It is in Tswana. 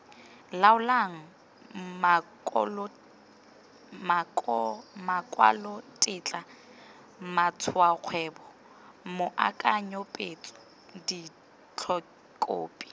laolang makwalotetla matshwaokgwebo moakanyetso ditetlokhophi